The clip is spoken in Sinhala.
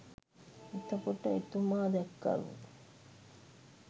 එතකොට එතුමා දැක්කලු